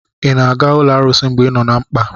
ị na-aga ụlọ arụsị mgbe ị nọ na mkpa?